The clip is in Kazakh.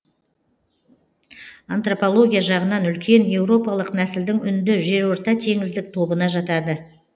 антропология жағынан үлкен еуропалық нәсілдің үнді жерортатеңіздік тобына жатады